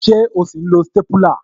Ṣé o sì ń lo stépúlà